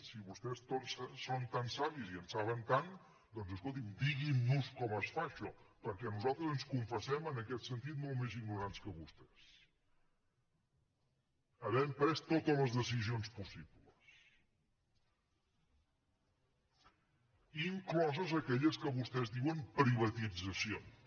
si vostès són tan savis i en saben tant doncs escoltin diguin nos com es fa això perquè nosaltres ens confessem en aquest sentit molt més ignorants que vostès havent pres totes les decisions possibles incloses aquelles que vostès en diuen privatitzacions